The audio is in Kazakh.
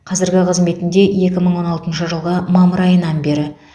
қазіргі қызметінде екі мың он алтыншы жылғы мамыр айынан бері